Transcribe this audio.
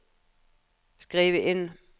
skriv inn